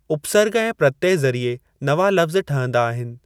उपसर्ग ऐं प्रत्यय ज़रीए नवां लफ़्ज़ ठहंदा आहिनि।